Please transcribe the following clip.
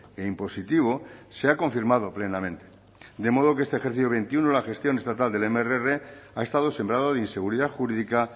e impositivo se ha confirmado plenamente de modo que este ejercicio dos mil veintiuno la gestión estatal del mrr ha estado sembrado de inseguridad jurídica